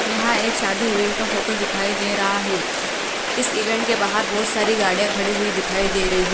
यहां एक शादी इवेंट का फोटो दिखाई दे रहा है इस इवेंट के बाहर बहोत सारी गाड़ियां खड़ी हुई दिखाई दे रही--